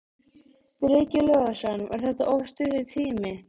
Breki Logason: Var þetta of stuttur tími?